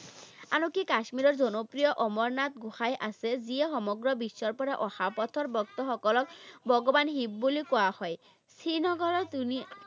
আৰু কি কাশ্মীৰৰ জনপ্ৰিয় অমৰনাথ গোঁসাই আছে, যিয়ে সমগ্ৰ বিশ্বৰ পৰা অহা পথৰ ভক্ত সকলক ভগৱান শিৱ বুলি কোৱা হয়। শ্ৰীনগৰৰ ধুনী